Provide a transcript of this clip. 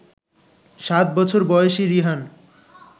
সাত বছর বয়সী রিহান